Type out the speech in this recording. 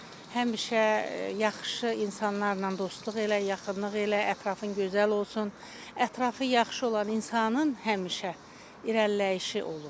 Həmişə yaxşı insanlarla dostluq elə, yaxınlıq elə, ətrafın gözəl olsun, ətrafı yaxşı olan insanın həmişə irəliləyişi olur.